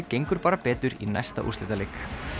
gengur bara betur í næsta úrslitaleik